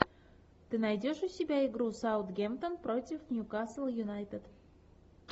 ты найдешь у себя игру саутгемптон против ньюкасл юнайтед